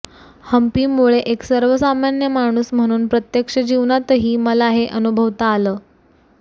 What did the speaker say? हंपीमुळे एक सर्वसामान्य माणूस म्हणून प्रत्यक्ष जीवनातही मला हे अनुभवता आलं